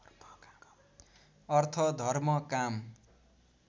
अर्थ धर्म काम